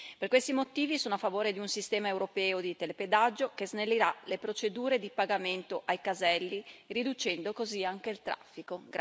Per questi motivi sono a favore di un sistema europeo di telepedaggio che snellirà le procedure di pagamento ai caselli, riducendo così anche il traffico.